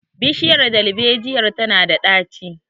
bishiyar darbejiyar tana da daci